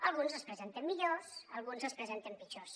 alguns els presenten millors alguns els presenten pitjors